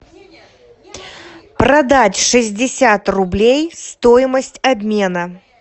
продать шестьдесят рублей стоимость обмена